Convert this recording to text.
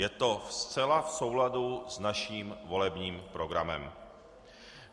Je to zcela v souladu s naším volebním programem.